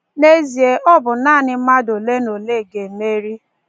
N’ezie, ọ bụ naanị mmadụ olenaole ga-emeri.